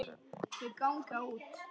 Þau ganga út.